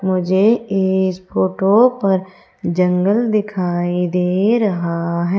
मुझे इस फोटो पर जंगल दिखाई दे रहा है।